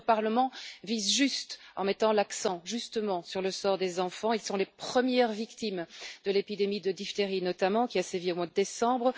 Notre Parlement vise juste en mettant l'accent, justement, sur le sort des enfants. Ils sont les premières victimes de l'épidémie de diphtérie, notamment, qui a sévi au mois de décembre.